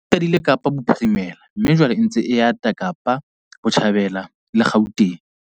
E qadile Kapa Bophirimela mme jwale e ntse e ata Kapa Botjhabela le Gauteng.